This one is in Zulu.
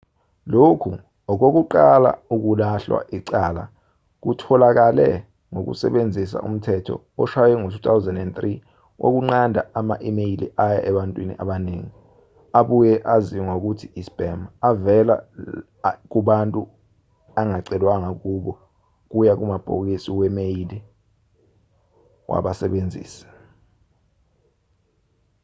lokhu okokuqala ukulahlwa icala kutholakale ngokusebenzisa umthetho oshwaywe ngo-2003 wokunqanda ama-imeyili aya ebantwini abaningi abuye aziwe ngokuthi i-spam avela kubantu angacelwanga kubo kuya kumabhokisi we-imeyili wabasebenzisi